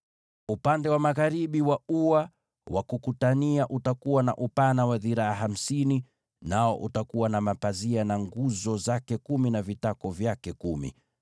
“Upande wa magharibi wa ua utakuwa na upana wa dhiraa hamsini, nao utakuwa na mapazia, na nguzo kumi na vitako vyake kumi.